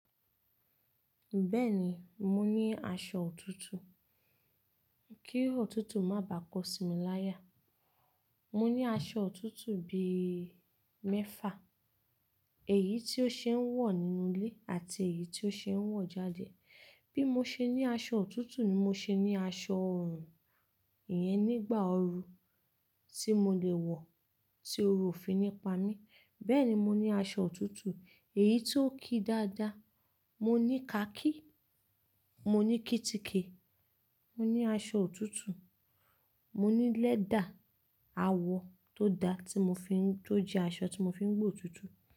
Bẹ́ẹ̀ni, mo ní aṣọ òtútù. Kí òtútù má bà kọ sí mi láyà. Mo ní aṣọ òtútù bí i mẹ́fà, èyí tí ó ṣe é wọ̀ nínú ilé àti èyí tí ó ṣe é wọ̀ jáde. Bí mo ṣe ní aṣọ òtútù ni mo ṣe ní aṣọ ọorùn. Iyẹn nígbà oru tí mo lè wọ̀ tí ooru ò fi ní pa mí. Bẹ́ẹ̀ni, mo ní aṣọ òtútù, èyí tí ó ki dáadáa. Mo ní khaki, mo ní kítíkì, mo ní aṣọ òtútù, mo ní lẹ́dà, àwo tó dá tí mo fi ń-- tó jẹ́ aṣọ tí mo fi ń gbó òtútù.